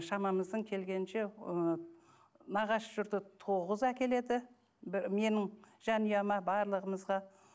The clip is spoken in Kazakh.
шамамыздың келгенінше ы нағашы жұрты тоғыз әкеледі менің жанұяма барлығымызға